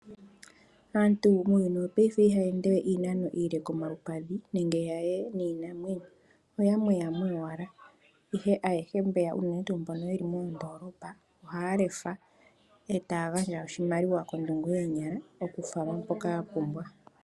Aantu muuyuni wopaife ohaya endewe iinano iile komalupadhi nenge ya ye niinamwenyo. Oyamweyamwe yowala, ihe ayehe mbeya unene tuu mbono yeli moondoolopa, ohaya lefa, e taya gandja oshimaliwa kondungu yoonyala okufalwa mpoka ya pumbwa.